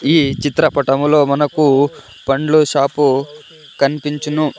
ఈ చిత్రపటములో మనకు పండ్లు షాపు కనిపించును.